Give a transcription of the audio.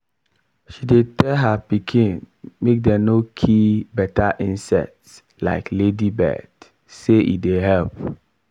she dey tell her pikin make dem no kill beta insect like ladybird say e dey help